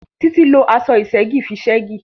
Títí lo aṣọ ìṣẹ́gì fi ṣẹ́gì